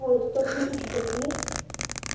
ой сто тысяч голды